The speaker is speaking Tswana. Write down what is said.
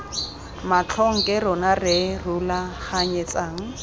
matlhong ke rona re rulaganyetsang